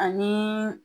Ani